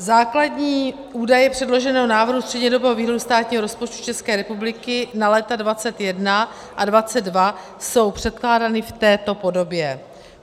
Základní údaje předloženého návrhu střednědobého výhledu státního rozpočtu České republiky na léta 2021 a 2022 jsou předkládány v této podobě.